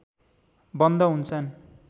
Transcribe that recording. बन्द हुन्छन्